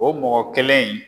O mɔgɔ kelen